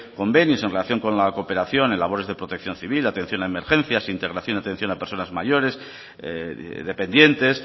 convenios en relación con la cooperación en labores de protección civil atención a emergencias integración y atención a personas mayores dependientes